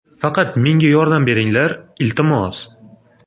Faqat menga yordam beringlar, iltimos.